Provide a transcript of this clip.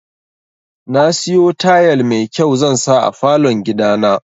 Nasiyo tayal mai kyau zansa a falon gidana.